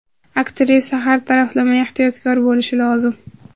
Aktrisa har taraflama ehtiyotkor bo‘lishi lozim.